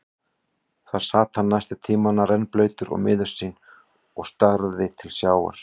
Þar sat hann næstu tímana, rennblautur og miður sín og starði til sjávar.